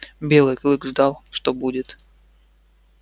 белый клык ждал что будет